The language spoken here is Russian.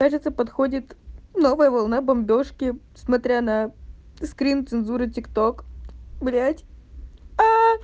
это ты подходит новая волна бомбёжки смотря на скрин цензуры тик ток блять аа